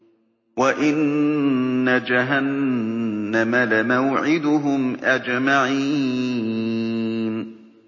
وَإِنَّ جَهَنَّمَ لَمَوْعِدُهُمْ أَجْمَعِينَ